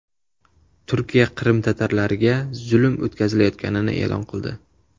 Turkiya Qrim tatarlariga zulm o‘tkazilayotganini e’lon qildi.